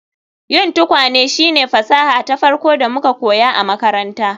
Yin tukwane shine fasaha ta farko da muka koya a makaranta